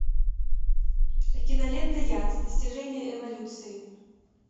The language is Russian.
кинолента яд достижение эволюции